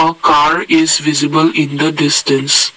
a car is visible in the distance.